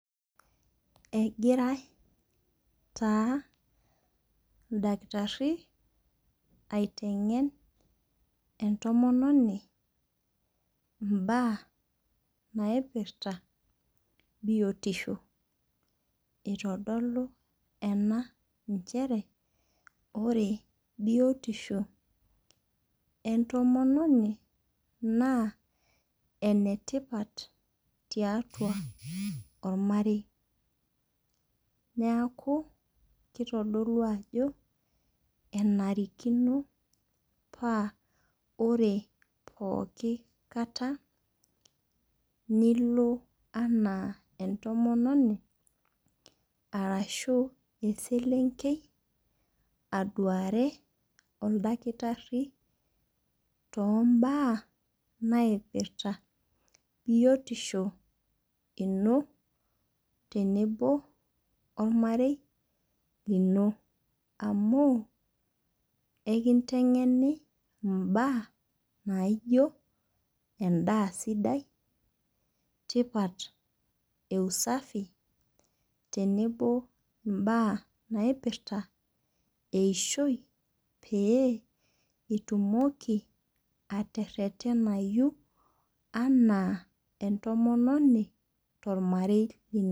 Egirai taa oldakitari aiteng'en entomononi ibaa naipirta biotisho itodolu enaa inchere ore biotisho entomononi naa ene tipat tiatua ormarei neaku kitodulu ajo enarikino ore pookin kata nilo anaa entomononi arashu eselenkei aduari oldakitari too baa naipirta biotisho ino tenebo ormarei lino amu ikinteng'eni ibaa naijo edaa sidia tipat ee usafi tenebo ibaa naipirta eishoi pee itumoki atererenayu anaa entomononi to lmarei lino.